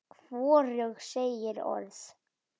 Hvorug segir orð.